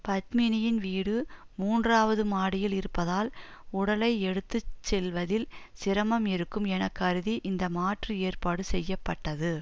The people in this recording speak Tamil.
பத்மினியின் வீடு மூன்றாவது மாடியில் இருப்பதால் உடலை எடுத்து செல்வதில் சிரமம் இருக்கும் என கருதி இந்த மாற்று ஏற்பாடு செய்ய பட்டது